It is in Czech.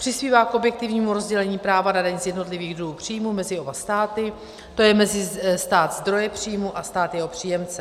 Přispívá k objektivnímu rozdělení práva na daň z jednotlivých druhů příjmů mezi oba státy, to je mezi stát zdroje příjmů a stát jeho příjemce.